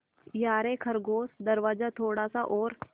यारे खरगोश दरवाज़ा थोड़ा सा और